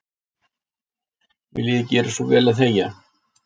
Viljiði gera svo vel að þegja.